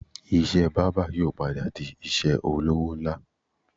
Iṣẹ́ bábà yóò padà di iṣẹ́ olówó ńlá